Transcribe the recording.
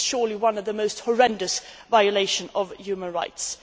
This is surely one of the most horrendous violations of human rights.